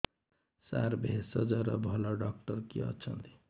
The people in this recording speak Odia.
ସାର ଭେଷଜର ଭଲ ଡକ୍ଟର କିଏ ଅଛନ୍ତି